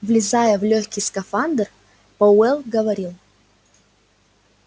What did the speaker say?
влезая в лёгкий скафандр пауэлл говорил